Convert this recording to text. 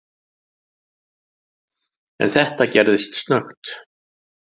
En þetta gerðist snöggt.